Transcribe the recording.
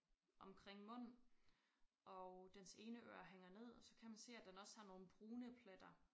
Omkring mund og dens ene øre hænger ned og så kan man se at den også har nogle brune pletter